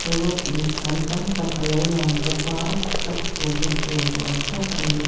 rawt inphan tam tak a lo lang bawk a slap chhunna tur ni awm tak a ni.